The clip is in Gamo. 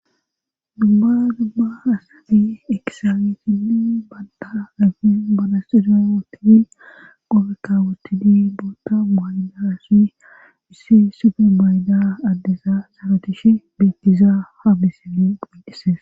dumma dumma asadi ekisaawetinni banda afi balasxiryawotidi qobekawotidi boota waydasi missi supe mayda addesa sarotish beettizaa ha bisili qunqises